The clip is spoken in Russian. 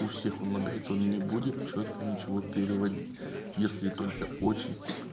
у всех он лагает он не будет чётко ничего переводить если только очень